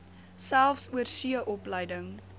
selfs oorsee opleiding